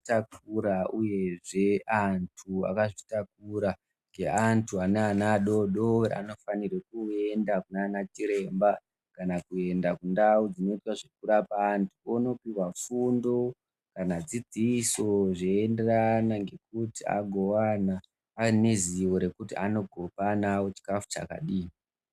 Takura uyezve antu akazvitakura ngeantu ane ana adodori anofanirwe kuenda kunana chiremba kana kuenda kundau dzinoita zvekurapa antu, ondopihwa fundo kana dzidziso zveenderana ngekuti agowana ane zivo rekuti anowana chikafu chakadii.